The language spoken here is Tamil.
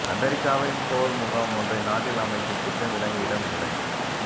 அமெரிக்காவின் போர் முகாம் ஒன்றை நாட்டில் அமைக்கும் திட்டம் இலங்கையிடம் இல்லை